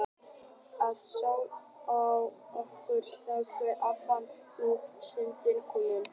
Svo sló á okkur þögn og ég fann að nú var stundin komin.